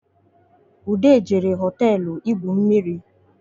Ude jere hoteelu igwu mmiri